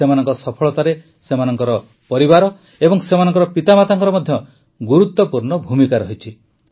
ସେମାନଙ୍କ ସଫଳତାରେ ସେମାନଙ୍କ ପରିବାର ଓ ସେମାନଙ୍କ ପିତାମାତାଙ୍କର ମଧ୍ୟ ଗୁରୁତ୍ୱପୂର୍ଣ୍ଣ ଭୁମିକା ରହିଛି